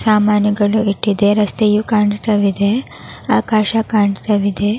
ಸಾಮಾನುಗಳು ಇಟ್ಟಿದೆ ರಸ್ತೆಯು ಕಾಣುತ್ತಲಿದೆ ಆಕಾಶ ಕಾಣ್ತಾ ಇದೆ.